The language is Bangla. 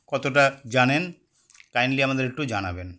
কতটা জানেন kindly আমাদের একটু জানাবেন